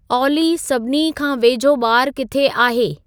ऑली सभिनी खां वेझो बारु किथे आहे